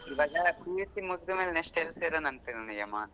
ಇವಾಗ PUC ಮುಗ್ದ್ಮೇಲೆ next ಎಲ್ಲ್ ಸೇರೋಣ ಅನ್ಕೊಂಡಿದೀಯಮ್ಮ.